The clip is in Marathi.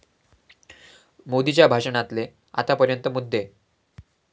मोदीच्या भाषणातले आतापर्यंत मुद्दे